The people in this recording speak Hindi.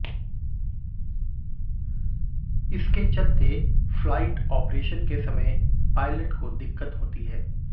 इसके चलते फ्लाइट ऑपरेशन के समय पायलट को दिक्कत होती है